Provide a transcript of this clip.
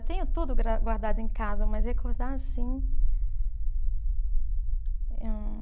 Eu tenho tudo gra, guardado em casa, mas recordar assim. Hum